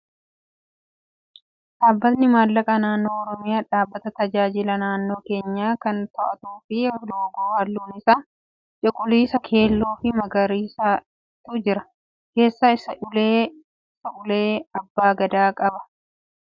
Dhaabbatni maallaqa naannoo oromiyaa dhaabbata baajata naannoo keenyaa kan to'atuu fi loogoo halluun isaa cuquliisa, keelloo fi magariisatu jira. Keessa isaatti immoo ulee abbaa gadaa qaba. Loogoo dhaabbata kanaa agartee beektaa?